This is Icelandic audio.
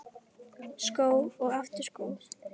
Skó og aftur skó.